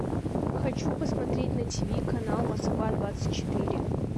хочу посмотреть на тиви канал москва двадцать четыре